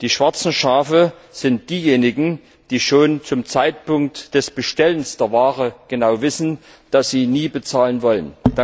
Die schwarzen Schafe sind diejenigen, die schon zum Zeitpunkt des Bestellens der Ware genau wissen, dass sie nie bezahlen wollen.